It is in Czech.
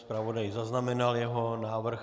Zpravodaj zaznamenal jeho návrh.